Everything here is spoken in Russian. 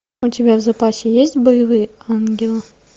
у тебя в запасе есть боевые ангелы